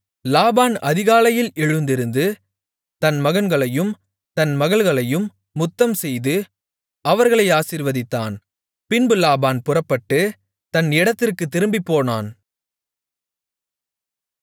லாபான் அதிகாலையில் எழுந்திருந்து தன் மகன்களையும் தன் மகள்களையும் முத்தம் செய்து அவர்களை ஆசீர்வதித்தான் பின்பு லாபான் புறப்பட்டு தன் இடத்திற்குத் திரும்பிப்போனான்